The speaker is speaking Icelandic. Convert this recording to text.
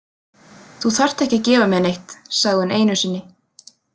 Þú þarft ekki að gefa mér neitt, sagði hún einu sinni.